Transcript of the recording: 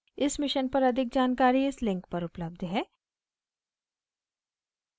इस mission पर अधिक जानकारी इस link पर उपलब्ध है